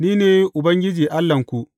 Ni ne Ubangiji Allahnku.’